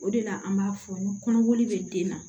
O de la an b'a fɔ ni kɔnɔboli bɛ den na